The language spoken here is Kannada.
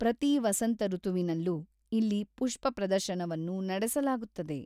ಪ್ರತೀ ವಸಂತ ಋತುವಿನಲ್ಲೂ ಇಲ್ಲಿ ಪುಷ್ಪ ಪ್ರದರ್ಶನವನ್ನು ನಡೆಸಲಾಗುತ್ತದೆ.